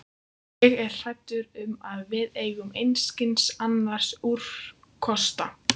Ég er hræddur um, að við eigum einskis annars úrkosta.